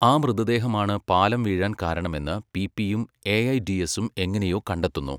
ആ മൃതദേഹമാണ് പാലം വീഴാൻ കാരണമെന്ന് പിപിയും എഐഡിഎസും എങ്ങനെയോ കണ്ടെത്തുന്നു.